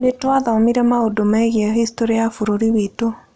Nĩ twathomire maũndũ megiĩ historĩ ya bũrũri witũ.